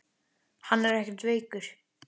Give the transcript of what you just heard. LÁRUS: Hann er ekkert veikur.